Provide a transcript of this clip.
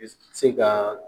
I b'i se ka